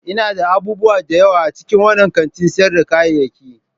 Ina da abubuwa da yawa a cikin wannan kantin sayar da kayayyaki.